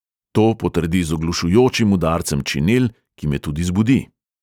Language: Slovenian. To potrdi z oglušujočim udarcem činel, ki me tudi zbudi.